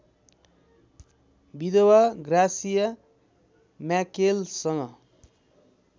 विधवा ग्रासिया म्याकेलसँग